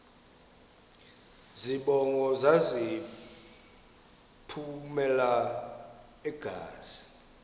zibongo zazlphllmela engazi